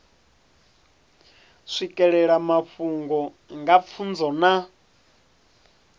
swikelela mafhungo nga pfunzo na